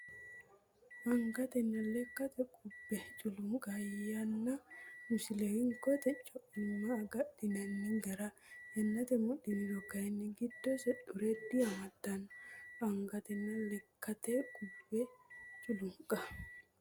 Angatenna lekkate qubbe culunqa yanna Misile Hinkote co imma agadhinanni gara yannate mudhiniro kayinni giddose xure diamaddanno Angatenna lekkate qubbe culunqa.